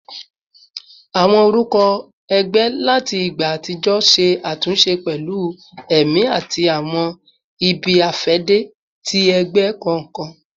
Awọn orukọ ẹgbẹ lati igba atijọ ṣe atunṣe pẹlu ẹmi ati awọn ibi-afẹde ti ẹgbẹ kọọkan